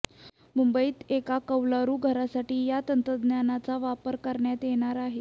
मुंबईत एका कौलारू घरासाठी या तंत्रज्ञानाचा वापर करण्यात येणार आहे